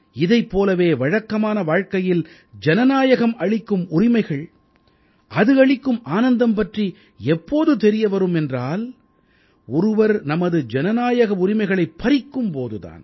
இதைப் போலவே வழக்கமான வாழ்க்கையில் ஜனநாயகம் அளிக்கும் உரிமைகள் அது அளிக்கும் ஆனந்தம் பற்றி எப்போது தெரிய வரும் என்றால் ஒருவர் நமது ஜனநாயக உரிமைகளைப் பறிக்கும் போது தான்